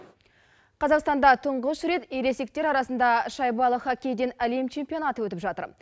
қазақстанда тұңғыш рет ересектер арасында шайбалы хоккейден әлем чеспионаты өтіп жатыр